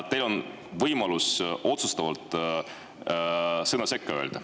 Teil on võimalus otsustavalt sõna sekka öelda.